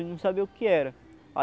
Ele não sabia o que era.